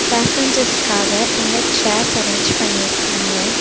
பேசஞ்சர்ஸ்காக இங்க chairs arrange பண்ணிருக்காங்க.